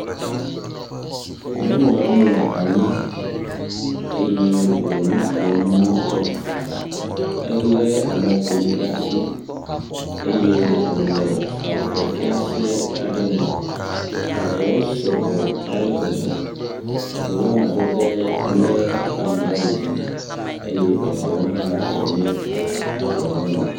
nyɔnuɔ ɖe nɔ anyi eye wónɔ nukom ŋutɔ éle emɔƒonui ɖasi eye wòle avɔ fiase aɖe me avɔwo sɔgbɔ ale gbegbe eɖewoa madede nye amgba ɖiɖi ye eɖewa tɔ nye amgba mumu